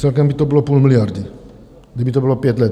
Celkem by to bylo půl miliardy, kdyby to bylo pět let.